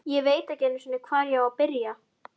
Ég veit ekki einu sinni, hvar ég á að byrja.